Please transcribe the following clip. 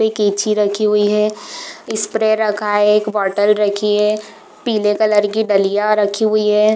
एक कैंची रखी हुई है स्प्रे रखा है एक बॉटल रखी है पीले कलर की डलिया रखी हुई है।